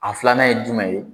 A filanan ye jumɛn ye